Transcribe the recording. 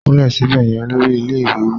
Kúnlẹ̀ síbẹ̀ yẹn! Olórí ilé ìwé wí.